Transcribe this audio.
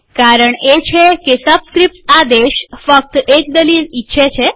કારણ એ છે કે સબસ્ક્રીપ્ટ્સ આદેશ ફક્ત એક દલીલ ઈચ્છે છે